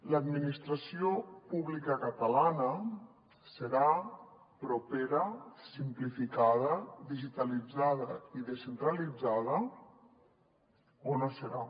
l’administració pública catalana serà propera simplificada digitalitzada i descentralitzada o no serà